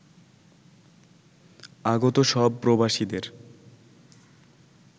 আগত সব প্রবাসীদের